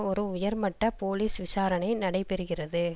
ஒரு உயர்மட்ட போலிஸ் விசாரணை நடைபெறுகிறது